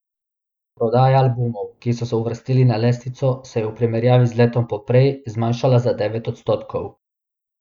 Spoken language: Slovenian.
Prodaja albumov, ki so se uvrstili na lestvico, se je v primerjavi z letom poprej, zmanjšala za devet odstotkov.